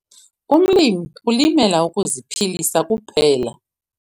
Umlimi ulimela ukuziphilisa kuphela.